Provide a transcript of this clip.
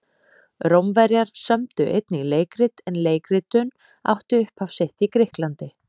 Rómverjar sömdu einnig leikrit en leikritun átti upphaf sitt í Grikklandi.